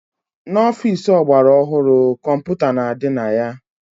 N'ọfici ọgbara ọhụrụ, kọmputa na-adị na ya.